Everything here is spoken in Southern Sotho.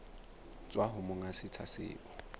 tswa ho monga setsha seo